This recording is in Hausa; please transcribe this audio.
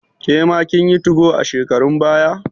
Kema kin yi 2go a shekarun baya?